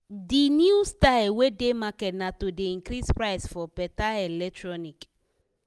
de new style wey dey market na to dey increase price for better electronic.